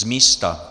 Z místa!